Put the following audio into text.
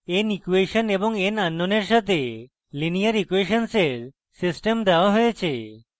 n equation এবং n আননোন্সের সাথে linear ইকুয়়েসনের system দেওয়া হয়েছে